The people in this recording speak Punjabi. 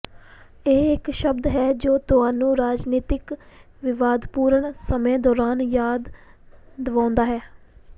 ਇਹ ਇਕ ਸ਼ਬਦ ਹੈ ਜੋ ਤੁਹਾਨੂੰ ਰਾਜਨੀਤਕ ਵਿਵਾਦਪੂਰਣ ਸਮੇਂ ਦੌਰਾਨ ਯਾਦ ਦਿਵਾਉਂਦਾ ਹੈ